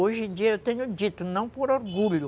Hoje em dia eu tenho dito, não por orgulho,